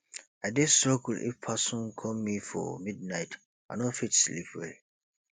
i dey struggle if person call me for midnight i no fit sleep well